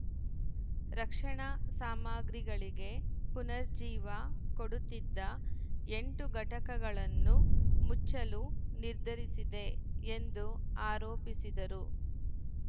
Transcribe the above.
ರಕ್ಷಣಾ ಸಾಮಗ್ರಿಗಳಿಗೆ ಪುನರ್‌ಜೀವ ಕೊಡುತ್ತಿದ್ದ ಎಂಟು ಘಟಕಗಳನ್ನು ಮುಚ್ಚಲು ನಿರ್ಧರಿಸಿದೆ ಎಂದು ಆರೋಪಿಸಿದರು